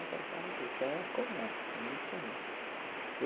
Então tá isso é comum, isso é muito comum.